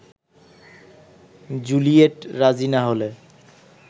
Juliet রাজি না হলে